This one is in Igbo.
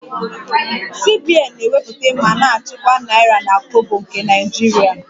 CBN na-ewepụta ma na-achịkwa naira na kobo nke Naijiria